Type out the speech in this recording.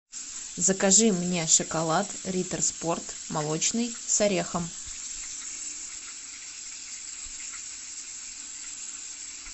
закажи мне шоколад ритер спорт молочный с орехом